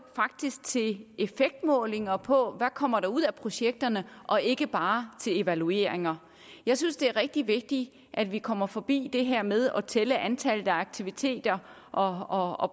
faktisk til effektmålinger på der kommer ud af projekterne og ikke bare til evalueringer jeg synes det er rigtig vigtigt at vi kommer forbi det her med at tælle antallet af aktiviteter og og